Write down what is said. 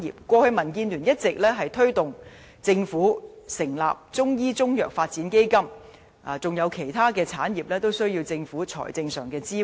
過去，民建聯一直推動政府成立中醫中藥發展基金，而其他產業也需要政府的財政支援。